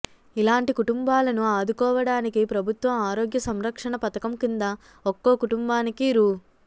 ఇలాంటి కుటుంబాలను ఆదుకోవడానికి ప్రభుత్వం ఆరోగ్య సంరక్షణ పథకం కింద ఒక్కో కుటుంబానికి రూ